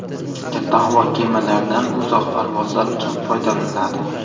Katta havo kemalaridan uzoq parvozlar uchun foydalaniladi.